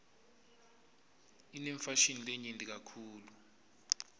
inefashini lenyenti kakitulu